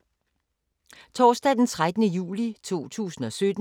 Torsdag d. 13. juli 2017